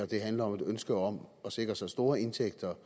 det handler om et ønske om at sikre så store indtægter